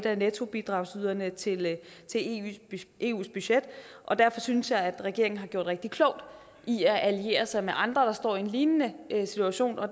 af nettobidragsyderne til eus budget og derfor synes jeg at regeringen har gjort rigtig klogt i at alliere sig med andre der står i en lignende situation og